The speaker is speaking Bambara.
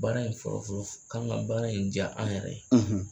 Baara in fɔlɔ fɔlɔ fɔ k'an ka baara in diy'an yɛrɛ ye